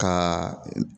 Ka